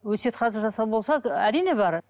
өсиет хат жасау болса ы әрине бар